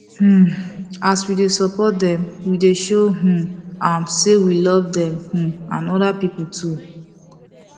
um as we dey support them we dey show um am say we love them um and other people too